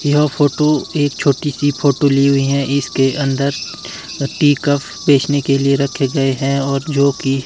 यह फोटो एक छोटी सी फोटो ली हुई है इसके अंदर अह टी कप बेचने के लिए रखे गए हैं और जो कि--